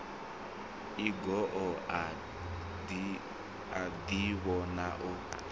e goo a ḓivhona o